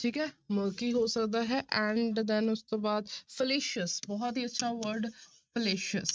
ਠੀਕ ਹੈ murky ਹੋ ਸਕਦਾ ਹੈ and then ਉਸ ਤੋਂ ਬਾਅਦ fallacious ਬਹੁਤ ਹੀ ਅੱਛਾ word fallacious